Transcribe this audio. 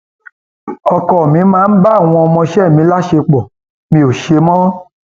ọkọ mi máa ń bá àwọn ọmọọṣẹ mi láṣepọ mi ò ṣe mọ